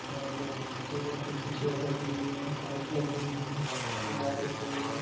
End table कुर्सी chair रखी हुई हैं लाइट लगी हुई है दीवार दिख रही हैं।